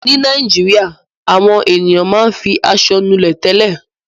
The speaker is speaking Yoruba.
Nílẹ̀ Nàìjíríà àwọn ènìyàn máa ń fi aṣọ nulẹ̀ tẹ́lẹ̀.